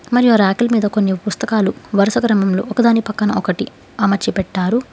మరియు ఆ రేకులు మీద కొన్ని పుస్తకాలు వరుస క్రమంలో ఒకదాని పక్కన ఒకటి అమర్చి పెట్టారు.